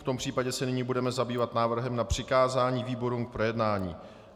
V tom případě se nyní budeme zabývat návrhem na přikázání výborům k projednání.